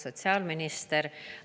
Sotsiaalminister!